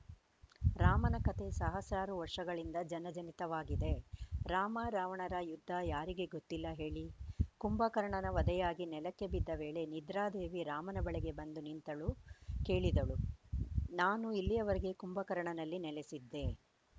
ರಾಮನ ಕತೆ ಸಹಸ್ರಾರು ವರ್ಷಗಳಿಂದ ಜನಜನಿತವಾಗಿದೆ ರಾಮ ರಾವಣರ ಯುದ್ಧ ಯಾರಿಗೆ ಗೊತ್ತಿಲ್ಲ ಹೇಳಿ ಕುಂಭಕರ್ಣನ ವಧೆಯಾಗಿ ನೆಲಕ್ಕೆ ಬಿದ್ದ ವೇಳೆ ನಿದ್ರಾದೇವಿ ರಾಮನ ಬಳಿಗೆ ಬಂದು ನಿಂತಳು ಕೇಳಿದಳು ನಾನು ಇಲ್ಲಿಯವರೆಗೆ ಕುಂಭಕರ್ಣನಲ್ಲಿ ನೆಲೆಸಿದ್ದೆ